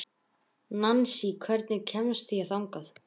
Nansý, hvernig kemst ég þangað?